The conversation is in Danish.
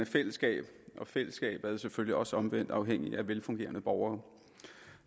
fællesskab og fællesskabet er selvfølgelig også omvendt afhængigt af velfungerende borgere